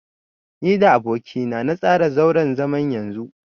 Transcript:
Ni da aboki na na tsara zauren zaman yanzu.